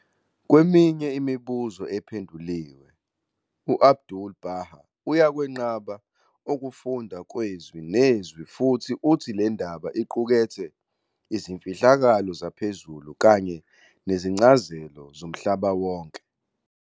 "Kweminye imibuzo ephenduliwe", u-'Abdu'l-Bahá uyakwenqaba ukufundwa kwezwi nezwi futhi uthi le ndaba iqukethe "izimfihlakalo zaphezulu kanye nezincazelo zomhlaba wonke".